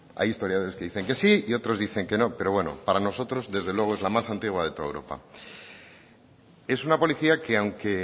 hay historiadores que dicen que sí y otros dicen que no pero bueno para nosotros desde luego es la más antigua de toda europa es una policía que aunque